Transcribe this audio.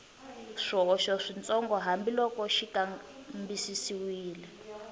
swihoxo switsongo hambiloko xi kambisisiwile